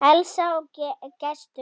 Elsa og Gestur.